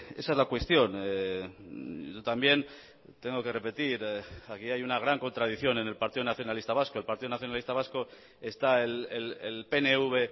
esa es la cuestión también tengo que repetir aquí hay una gran contradicción en el partido nacionalista vasco el partido nacionalista vasco está el pnv